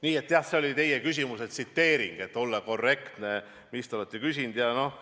Nii et jah, see oli teie küsimuse tsiteering, et olla korrektne selles, mida te olete küsinud.